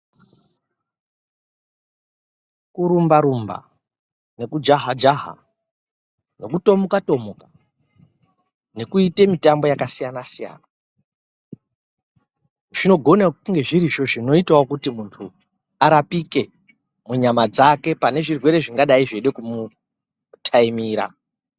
Kurumba rumba nekujaha jaha nokutomuka tomuka nekuite mutambo yakasiyana siyana zvinogone kunge zvirizvo zvinoitawo kuti munhu arapike munyama dzake pane zvirwere zvingadai zveide kumutaimira.